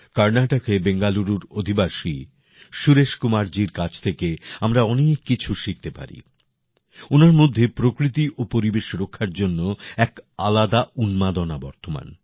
কর্নাটকের বেঙ্গালুরুর অধিবাসী সুরেশ কুমারজির কাছ থেকে আমরা অনেক কিছু শিখতে পারি ওনার মধ্যে প্রকৃতি ও পরিবেশ রক্ষার জন্য এক আলাদাই উন্মাদনা বর্তমান